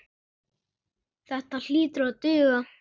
Þetta hlýtur að duga.